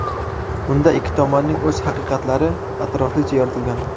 Unda ikki tomonning o‘z haqiqatlari atroflicha yoritilgan.